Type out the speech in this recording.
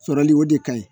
Sɔrɔli o de ka ɲi